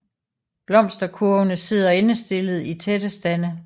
Blomsterkurvene sidder endestillet i tætte stande